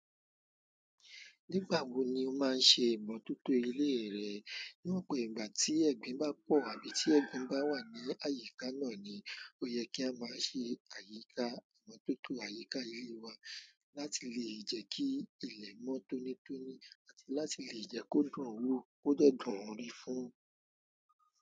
Nígbà wo ni o máa ń ṣe ìmọ̀tótó ilé rẹ? Ní ọ̀pọ̀ ìgbà tí ẹ̀gbin bá pọ̀ àbí tí ẹ̀gbin bá wà ní àyíká náà ni ó yẹ kí a máa ṣe àyíká ìmọ̀tótó àyíká ilé wa láti lè jẹ́ kí ilẹ̀ mọ́ tónítóní àti láti lè jẹ́ kó dùn wó kó dẹ́ dùn rí fún.